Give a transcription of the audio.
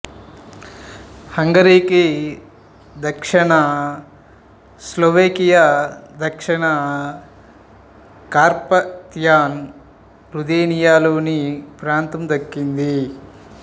హంగరీకి దక్షిణ స్లోవేకియా దక్షిణ Carpathian Ruthenia లోని ప్రాంతం దక్కింది